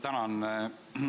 Tänan!